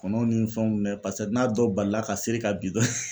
Kɔnɔw ni fɛnw mɛ n'a dɔ balila ka seri ka bin dɔrɔn